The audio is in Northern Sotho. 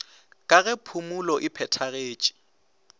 ga ge phumulo e phethagetše